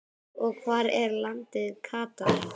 og Hvar er landið Katar?